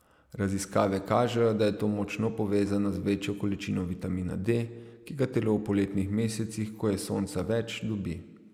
Raziskave kažejo, da je to močno povezano z večjo količino vitamina D, ki ga telo v poletnih mesecih, ko je sonca več, dobi.